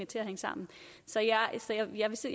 til at hænge sammen så jeg